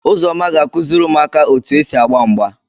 Uzoma ga akuziri umuaka otu esi agba mgba.